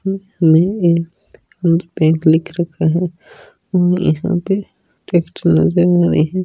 यहा एक बैंक लिख रखा है और यहा पे--